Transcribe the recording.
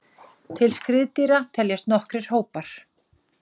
Til skriðdýra teljast nokkrir hópar.